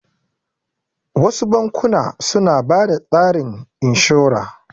Wasu bankuna suna bada tsarin inshora